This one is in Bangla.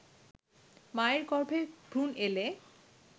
মায়ের গর্ভে ভ্রুণ এলে